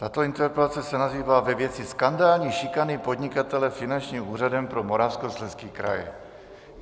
Tato interpelace se nazývá ve věci skandální šikany podnikatele Finančním úřadem pro Moravskoslezský kraj.